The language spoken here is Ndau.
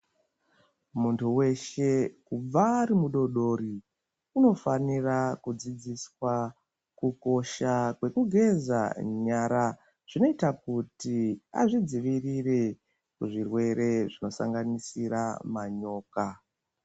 Muntu weshe kubva ari mudodori uno fanira kudzidziswa ku kosha kweku geza nyara zvinoita kuti azvi dzivirire zvirwere zvino sanganisira manyoka.